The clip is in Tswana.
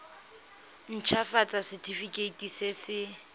nt hafatsa setefikeiti se se